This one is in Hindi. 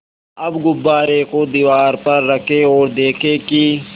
अब गुब्बारे को दीवार पर रखें ओर देखें कि